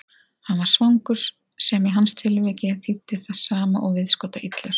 Hann var svangur, sem í hans tilviki þýddi það sama og viðskotaillur.